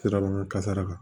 Sirabakan kasara kan